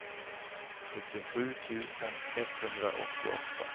sjuttiosju tusen etthundraåttioåtta